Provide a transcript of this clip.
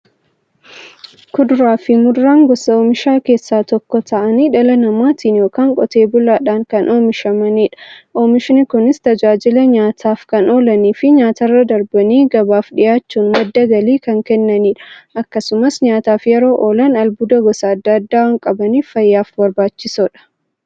Kuduraafi muduraan gosa oomishaa keessaa tokko ta'anii, dhala namaatin yookiin Qotee bulaadhan kan oomishamaniidha. Oomishni Kunis, tajaajila nyaataf kan oolaniifi nyaatarra darbanii gabaaf dhiyaachuun madda galii kan kennaniidha. Akkasumas nyaataf yeroo oolan, albuuda gosa adda addaa waan qabaniif, fayyaaf barbaachisoodha.